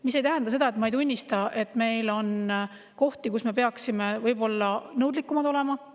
See ei tähenda seda, et ma ei tunnista, et meil on kohti, kus me peaksime võib-olla nõudlikumad olema.